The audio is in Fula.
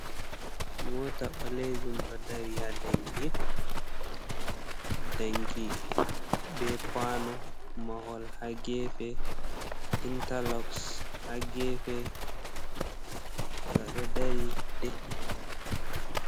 Mota ɓalejun ɗo dari ha danki, danki be kuano mahol ha gefe, intarloxs ha gefe, ngaɗo dari de’iti.